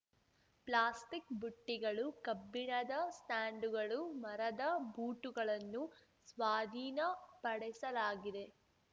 plastic ಬುಟ್ಟಿಗಳು ಕಬ್ಬಿಣದ ಸ್ಟಾಂಡುಗಳು ಮರದ ಭೂಟುಗಳನ್ನು ಸ್ವಾಧೀನ ಪಡಿಸಲಾಗಿದೆ